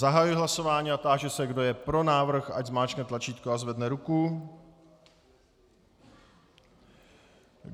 Zahajuji hlasování a táži se, kdo je pro návrh, ať zmáčkne tlačítko a zvedne ruku.